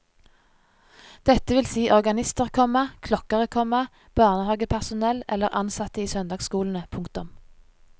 Dette vil si organister, komma klokkere, komma barnehagepersonell eller ansatte i søndagsskolene. punktum